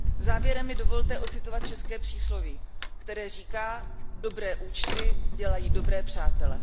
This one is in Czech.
Závěrem mi dovolte ocitovat české přísloví, které říká Dobré účty dělají dobré přátele.